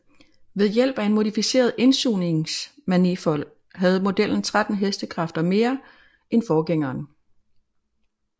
Ved hjælp af en modificeret indsugningsmanifold havde modellen 13 hk mere end forgængeren